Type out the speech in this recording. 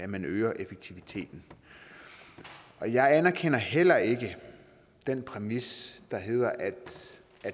man øger effektiviteten og jeg anerkender heller ikke den præmis der hedder at